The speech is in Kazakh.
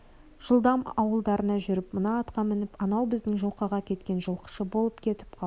жылдам ауылдарыңа жүріп мына атқа мініп анау біздің жылқыға кеткен жылқышы болып кетіп қал